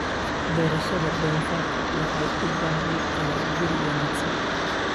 Beerashada doofaarku waxay u baahan tahay guri wanaagsan.